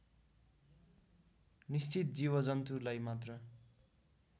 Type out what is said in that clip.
निश्चित जीवजन्तुलाई मात्र